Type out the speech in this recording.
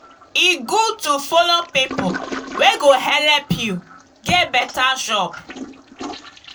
e good to follow pipu wey go helep you get beta job.